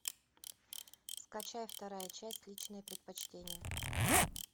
скачай вторая часть личные предпочтения